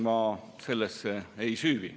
Sellesse ma ei süüvi.